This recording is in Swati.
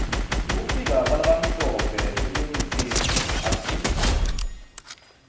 kufika kwalabamhlope eningizimu africa